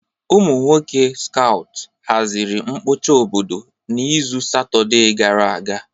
Ụmụ nwoke skout haziri mkpocha obodo n'izu Satọde gara aga.